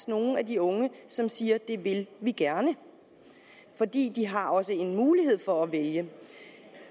nogle af de unge som siger at det vil de gerne for de har også en mulighed for at vælge